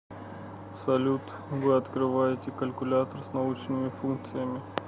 салют вы открываете калькулятор с научными функциями